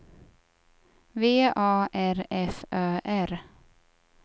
V A R F Ö R